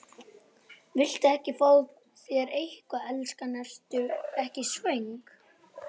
Viltu ekki fá þér eitthvað, elskan, ertu ekki svöng?